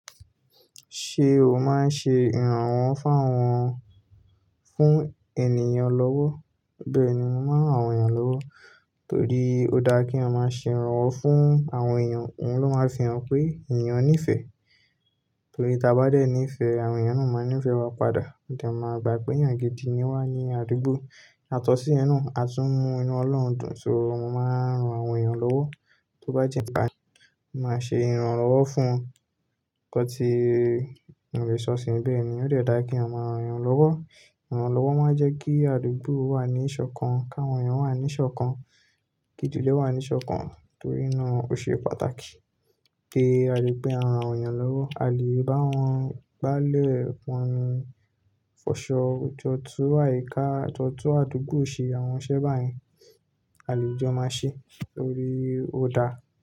Ṣé o máa ń ṣe ìrànwọ́ fún àwọn fún ènìyàn lọ́wọ́? Bẹ́ẹ̀ni, mo máa ń ran àwọn èèyàn lọ́wọ́ torí ó dáa kí ọmọ ṣe ìrànwọ́ fún àwọn èèyàn, òun ló máa fihàn pé ènìyàn nífẹ̀ẹ́. Torí tí a bá dé nífẹ̀ẹ́, àwọn èèyàn ni ó máa nífẹ̀ẹ́ wa padà. Ìdàǹ máa gbà pé eeyàn gidi ni wá ní àdúgbò. Àtọ̀sí ẹnu, àtúmọ̀ inú Ọlọ́run dùn. So mo máa ń ran àwọn èèyàn lọ́wọ́, tó bá jẹ́ nígbà mí, mo máa ṣe ìrànwọ́ fún kọ́ ti irinṣẹ́ ọ̀sìn. Bẹ́ẹ̀ ni, ó dẹ̀ dára kí ọmọ ran èèyàn lọ́wọ́. Ìrànwọ́ lọ́wọ́ máa ń jẹ́ kí àdúgbò wà ní ìṣọ̀kan, kí àwọn èèyàn wà ní ìṣọ̀kan, kí ìdílé wà ní ìṣọ̀kan torí inú òṣìṣẹ́ pàtàkì pé a lè pe àwọn èèyàn lọ́wọ́, a lè bá wọn bá lẹ̀ wọn fọṣọ, tọ́tọ́ àyíká, tọ́tọ́ àdúgbò ṣe àwọn iṣẹ́ báyìí a lè jọ máa ṣe torí ó dára.